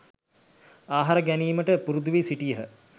ආහාර ගැනීමට පුරුදු වී සිටියහ.